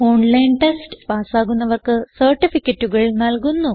online test പാസ്സാകുന്നവർക്ക് സർട്ടിഫികറ്റുകൾ നല്കുന്നു